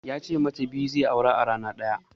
Ya ce mata biyu zai aura a rana ɗaya.